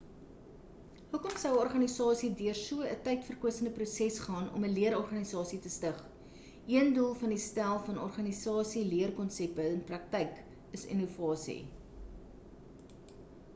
hoekom sou 'n organisasie deur so 'n tydverkwistende proses gaan om 'n leerorganisasie te stig een doel van die stel van organisasieleerkonsepte in praktyk is innovasie